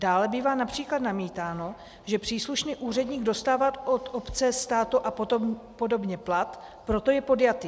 Dále bývá například namítáno, že příslušný úředník dostává od obce, státu a podobně plat, proto je podjatý.